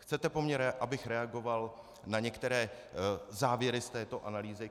Chcete po mně, abych reagoval na některé závěry z této analýzy.